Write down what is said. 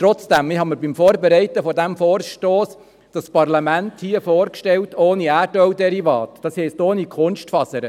Trotzdem habe ich mir bei der Vorbereitung dieses Vorstosses dieses Parlament ohne Erdölderivate vorgestellt, das heisst ohne Kunstfasern.